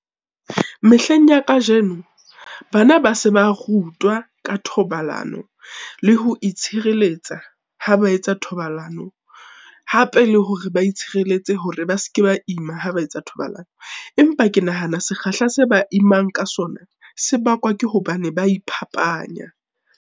Mehleng ya kajeno, bana ba se ba rutwa ka thobalano le ho itshireletsa ha ba etsa thobalano, hape le hore ba itshireletse hore ba se ke ba ima ha ba etsa thobalano. Empa ke nahana sekgahla se ba imang ka sona, se bakwa ke hobane ba iphapanya.